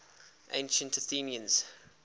ancient athenians